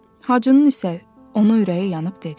Hacının isə ona ürəyi yanıb dedi: